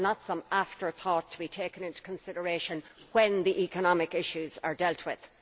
they are not some afterthought to be taken into consideration when the economic issues are dealt with.